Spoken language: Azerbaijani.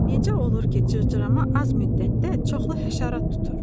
Necə olur ki, cırcırama az müddətdə çoxlu həşarat tutur?